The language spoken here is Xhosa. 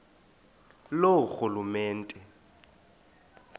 loorhulumente